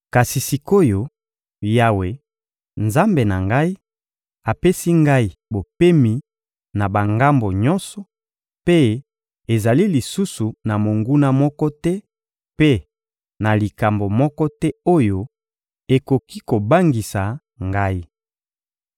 Kasi sik’oyo, Yawe, Nzambe na ngai, apesi ngai bopemi na bangambo nyonso, mpe ezali lisusu na monguna moko te mpe na likambo moko te oyo ekoki kobangisa ngai.